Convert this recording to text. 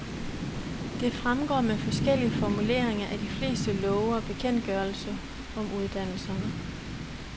Det fremgår med forskellige formuleringer af de fleste love og bekendtgørelser om uddannelserne.